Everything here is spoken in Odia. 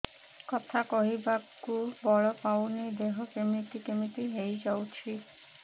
କଥା କହିବାକୁ ବଳ ପାଉନି ଦେହ କେମିତି କେମିତି ହେଇଯାଉଛି